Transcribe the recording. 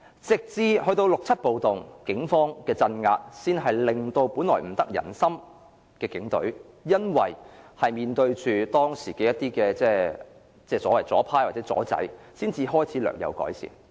直至六七暴動，警方的鎮壓才令本來不得人心的警隊，因為面對當時的左派或"左仔"，其形象才開始略有改善。